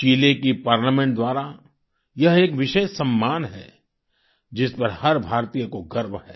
चिले की पार्लामेंट द्वारा यह एक विशेष सम्मान है जिस पर हर भारतीय को गर्व है